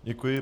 Děkuji.